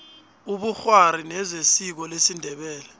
ubukgwari nezesiko lesindebele